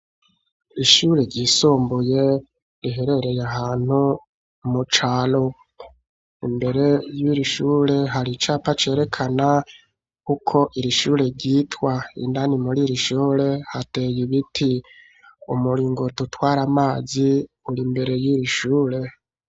Ishure ryisumbuye riherereye ahantu mu caro, imbere y'irishure hari icapa cerekana ukwo irishure ryitwa indani mur irishure hateye ibiti umuringotutware amazi uri imbere y'irishure.